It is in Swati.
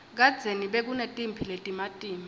kadzeni bekunetimphi letimatima